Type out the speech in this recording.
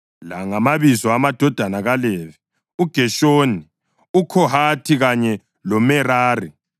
La ngamabizo amadodana kaLevi: uGeshoni, uKhohathi kanye loMerari.